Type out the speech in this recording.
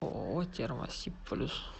ооо термосиб плюс